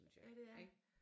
Ja det er